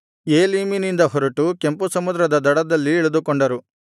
ಏಲೀಮಿನಿಂದ ಹೊರಟು ಕೆಂಪು ಸಮುದ್ರದ ದಡದಲ್ಲಿ ಇಳಿದುಕೊಂಡರು